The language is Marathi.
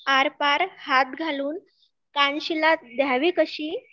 आरपार हात घालून कानशिलात द्यावी कशी